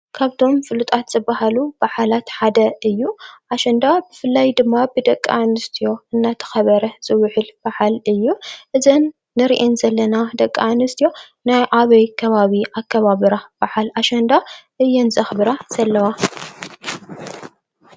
ካብቶም ፉሉጣት ዝበሃሉ በዓላት ሓደ እዩ። ኣሸንዳ ብፍላይ ደማ ብደቂ ኣንስትዮ እንዳተኸበረ ዝውዕል በዓል እዩ። እዘን እንሪኤን ዘለና ደቂ ኣንስትዮ ናይ ኣበይ ከባቢ አከባብራ በዓል ኣሸንዳ እየን ዘኽብራ ዘለዋ?